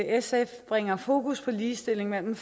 sf bringer fokus på ligestilling mellem